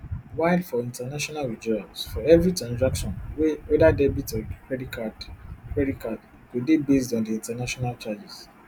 while for international withdrawals for evri transaction weda debit or credit card credit card e go dey based on di international charges